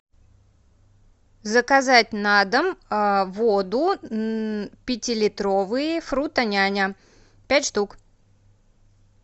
заказать на дом воду пятилитровые фрутоняня пять штук